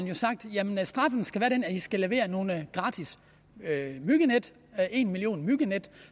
jo sagt jamen straffen skal være den at i skal levere nogle gratis myggenet en million myggenet